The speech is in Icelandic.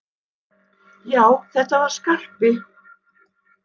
Já, þetta var Skarpi!